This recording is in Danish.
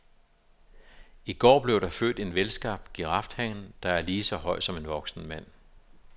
I går blev der født en velskabt girafhan, der er lige så høj som en voksen mand.